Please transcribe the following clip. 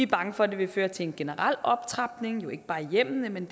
bange for at det vil føre til en generel optrapning jo ikke bare i hjemmene men